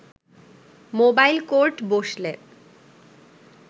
mobile court বসলে